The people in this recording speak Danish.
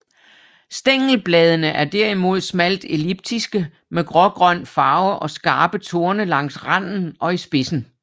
Stængelbladene er derimod smalt elliptiske med grågrøn farve og skarpe torne langs randen og i spidsen